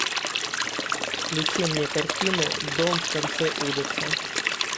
включи мне картину дом в конце улицы